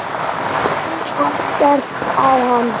Kann ekkert á hann.